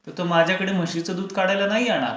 तर तो माझ्याकडे म्हशीचं दूध काढायला नाही येणार.